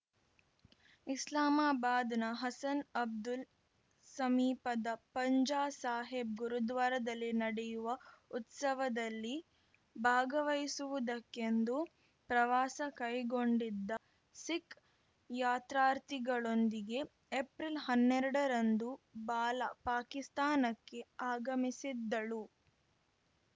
ಇಸ್ಲಾಮಾಬಾದ್‌ನ ಹಸನ್‌ ಅಬ್ದಲ್‌ ಸಮೀಪದ ಪಂಜಾ ಸಾಹೀಬ್‌ ಗುರುದ್ವಾರದಲ್ಲಿ ನಡೆಯುವ ಉತ್ಸವದಲ್ಲಿ ಭಾಗವಹಿಸುವುದಕ್ಕೆಂದು ಪ್ರವಾಸ ಕೈಗೊಂಡಿದ್ದ ಸಿಖ್‌ ಯಾತ್ರಾರ್ಥಿಗಳೊಂದಿಗೆ ಏಪ್ರಿಲ್ಹನ್ನೆರಡ ರಂದು ಬಾಲಾ ಪಾಕಿಸ್ತಾನಕ್ಕೆ ಆಗಮಿಸಿದ್ದಳು